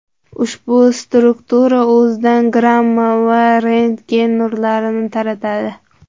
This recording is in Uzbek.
Ushbu struktura o‘zidan gamma va rentgen nurlari taratadi.